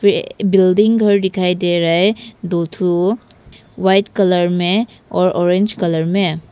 ये बिल्डिंग घर दिखाई दे रहा है दो ठो व्हाइट कलर में और ऑरेंज कलर में।